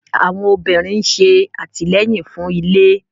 Àwọn obìnrin ṣe atilẹyin fún ilé